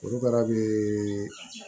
Korokara bɛ